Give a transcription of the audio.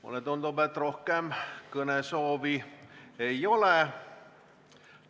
Mulle tundub, et rohkem kõnesoovi ei ole.